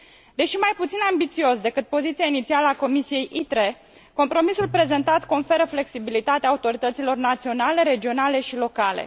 Deși mai puțin ambițios decât poziția inițială a Comisiei ITRE, compromisul prezentat conferă flexibilitate autorităților naționale, regionale și locale.